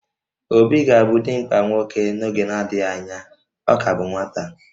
Obi ga-abụ dimkpa nwoke n'oge na-adịghị anya, ọ ka bụ nwata